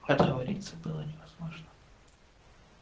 отговориться было невозможно